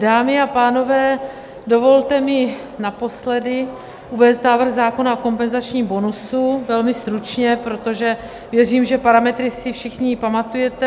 Dámy a pánové, dovolte mi naposledy uvést návrh zákona o kompenzačním bonusu, velmi stručně, protože věřím, že parametry si všichni pamatujete.